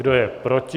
Kdo je proti?